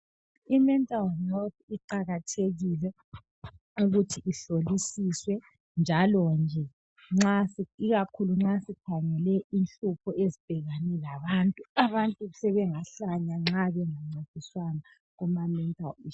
Imental health iqakathekile ukuthi ihlolisiswe njalo nje ikakhulu nxa sikhangele inhlupho ezibhekane labantu. Abantu sebengahlanya nxa bengancediswanga kumamental issues.